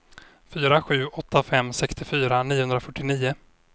fyra sju åtta fem sextiofyra niohundrafyrtionio